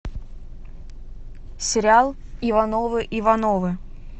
сериал ивановы ивановы